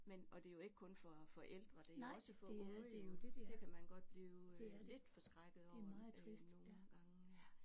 Men og det er jo ikke kun for for ældre det er jo også for unge jo det kan man godt blive lidt forskrækket over øh nogle gange